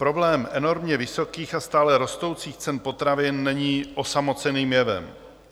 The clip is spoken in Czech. Problém enormně vysokých a stále rostoucích cen potravin není osamoceným jevem.